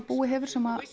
búi hefur sem